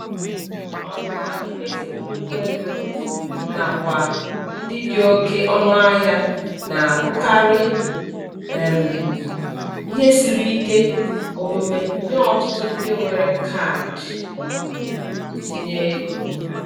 Ọnwụnwa imefu nnukwu ego n'akwa ndị dị oke ọnụahịa na-abụkarị um ihe siri ike omume nye ọtụtụ ndị nwere kaadị ntinyeego.